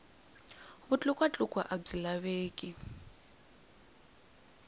vutlukwa tlukwa a byi laveki